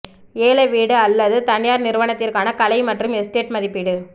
ஏல வீடு அல்லது தனியார் நிறுவனத்திற்கான கலை மற்றும் எஸ்டேட் மதிப்பீடு